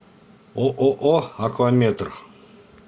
ооо акваметр